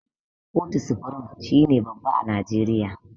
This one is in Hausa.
Kotu supirim shine babba a najeriya.